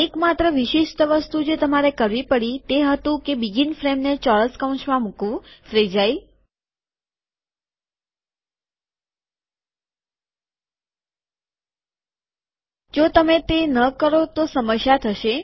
એક માત્ર વિશિષ્ટ વસ્તુ જે તમારે કરવી પડી તે હતું કે શરૂઆતની ફ્રેમને ચોરસ કૌંસમાં મુકવું ફ્રેજાઈલ જો તમે તે ન કરો તો એક સમસ્યા થશે